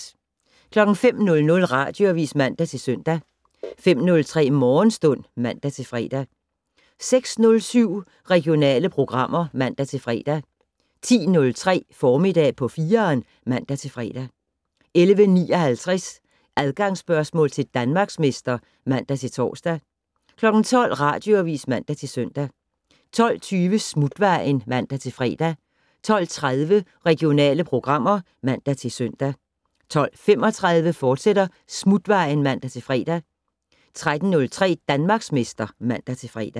05:00: Radioavis (man-søn) 05:03: Morgenstund (man-fre) 06:07: Regionale programmer (man-fre) 10:03: Formiddag på 4'eren (man-fre) 11:59: Adgangsspørgsmål til Danmarksmester (man-tor) 12:00: Radioavis (man-søn) 12:20: Smutvejen (man-fre) 12:30: Regionale programmer (man-søn) 12:35: Smutvejen, fortsat (man-fre) 13:03: Danmarksmester (man-fre)